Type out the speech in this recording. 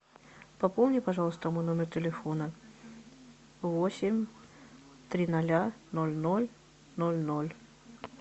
пополни пожалуйста мой номер телефона восемь три ноля ноль ноль ноль ноль